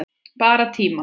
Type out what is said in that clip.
Bara tíma